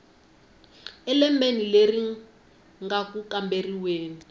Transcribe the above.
elembeni leri nga ku kamberiweni